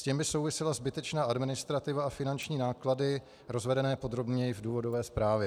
S tím by souvisela zbytečná administrativa a finanční náklady rozvedené podrobněji v důvodové zprávě.